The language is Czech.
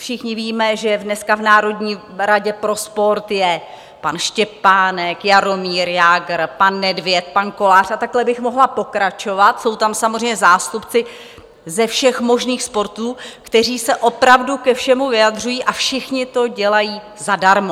Všichni víme, že dneska v Národní radě pro sport je pan Štěpánek, Jaromír Jágr, pan Nedvěd, pan Kolář, a takhle bych mohla pokračovat, jsou tam samozřejmě zástupci ze všech možných sportů, kteří se opravdu ke všemu vyjadřují, a všichni to dělají zadarmo.